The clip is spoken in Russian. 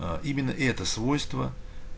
а именно это свойство